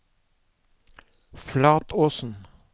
Flatåsen